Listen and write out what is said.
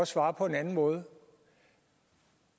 svare på en anden måde